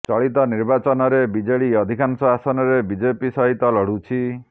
ଚଳିତ ନିର୍ବାଚନରେ ବିଜେଡି ଅଧିକାଂଶ ଆସନରେ ବିଜେପି ସହିତ ଲଢୁଛି